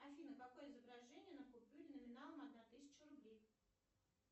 афина какое изображение на купюре номиналом одна тысяча рублей